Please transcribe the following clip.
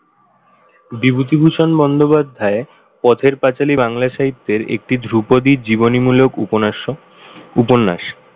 বিভূতিভূষণ বন্দ্যোপাধ্যায় পথের পাঁচালী বাংলা সাহিত্যের একটি ধ্রুপদী জীবনীমূলক উপন্যাস।